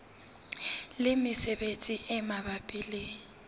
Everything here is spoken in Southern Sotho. le mesebetsi e mabapi le